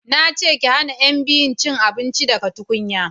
na ce ki hana yan biyun cin abinci daga tukunya!